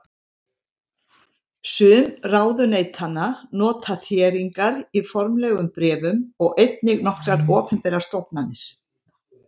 Sum ráðuneytanna nota þéringar í formlegum bréfum og einnig nokkrar opinberar stofnanir.